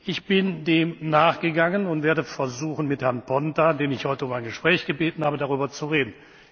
Ich bin dem nachgegangen und werde versuchen, mit Herrn Ponta, den ich heute um ein Gespräch gebeten habe, darüber zu reden.